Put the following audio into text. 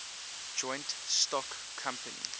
joint stock company